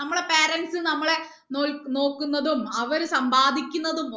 നമ്മുടെ parents നമ്മളെ നോൽ നോക്കുന്നതും അവര് സമ്പാദിക്കുന്നതും